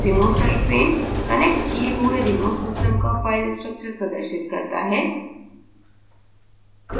remote site pane connected किए हुए remote system का फ़ाइल structure प्रदर्शित करता है